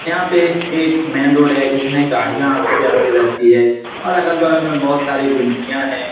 यहाँ पे एक मेन रोड है जिसमे गाड़ियां आती जाती रहती है और अगल-बगल में बहुत सारी गुमतिया है।